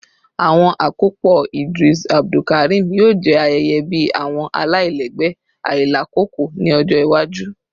Awọn akopọ Idris Abdulkarim yoo jẹ ayẹyẹ bi awọn alailẹgbẹ ailakoko ni ọjọ iwaju